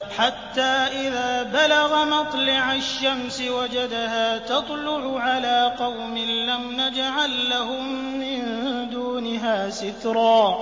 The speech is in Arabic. حَتَّىٰ إِذَا بَلَغَ مَطْلِعَ الشَّمْسِ وَجَدَهَا تَطْلُعُ عَلَىٰ قَوْمٍ لَّمْ نَجْعَل لَّهُم مِّن دُونِهَا سِتْرًا